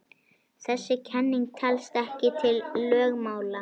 Þessi kenning telst ekki til lögmála.